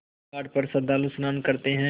इस घाट पर श्रद्धालु स्नान करते हैं